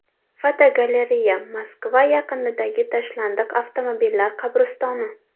Fotogalereya: Moskva yaqinidagi tashlandiq avtomobillar qabristoni.